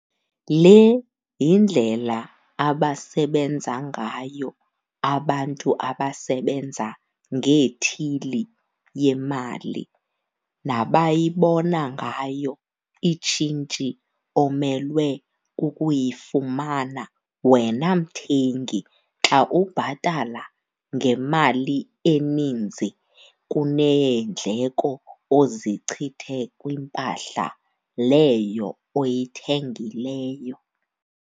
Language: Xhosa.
Le yindlela abasebenza ngayo abantu abasebenza ngeethili yemali nabayibona ngayo itshintshi omelwe kukuyifumana wena mthengi xa ubhatala ngemali eninzi kuneendleko ozichithe kwimpahla leyo oyithengileyo.